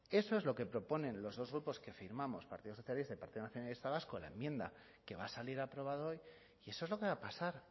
eso es lo que proponen los dos grupos que firmamos partido socialista y partido nacionalista vasco en la enmienda que va a salir aprobada hoy y eso es lo que va a pasar